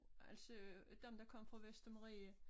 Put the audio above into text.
Altså dem der kom fra Vestermarie